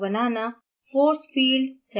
panel पर अणुओं को बनाना